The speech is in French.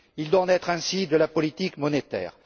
Il doit en être ainsi de la politique monétaire.